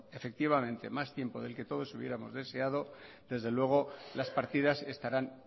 efectivamente más tiempo del que todos hubiéramos deseado desde luego las partidas estarán